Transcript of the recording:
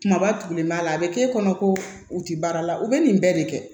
Kumaba tugulen b'a la a bɛ k'e kɔnɔ ko u tɛ baara la u bɛ nin bɛɛ de kɛ